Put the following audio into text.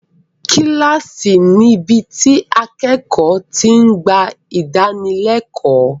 Kíláàsì níbi tí akẹ́kọ̀ọ́ ti ń gba ìdánilẹ́kọ̀ọ́.